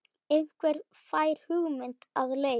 Einhver fær hugmynd að leik.